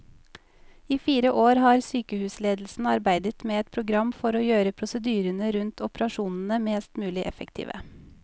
I fire år har sykehusledelsen arbeidet med et program for å gjøre prosedyrene rundt operasjonene mest mulig effektive.